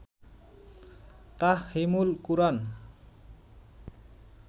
Tafhimul Quran